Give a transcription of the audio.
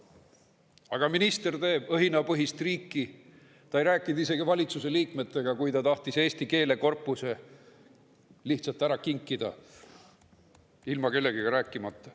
Aga minister teeb õhinapõhist riiki, ta ei rääkinud isegi valitsuse liikmetega, kui ta tahtis eesti keele korpuse lihtsalt ära kinkida, ilma kellegagi rääkimata.